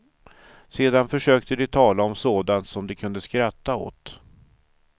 Sedan försökte de tala om sånt som de kunde skratta åt.